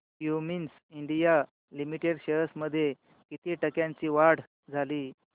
Cummins India limited shares मध्ये किती टक्क्यांची वाढ झाली